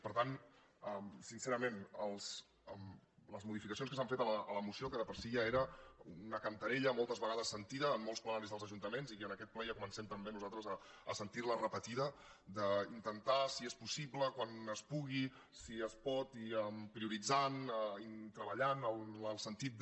per tant sincerament les modificacions que s’han fet a la moció que de per si ja era una cantarella moltes vegades sentida en molts plenaris dels ajuntaments i en aquest ple ja comencem també nosaltres a sentir·la repetida d’ intentar si és possible quan es pu·gui si es pot prioritzant i treballant en el sentit de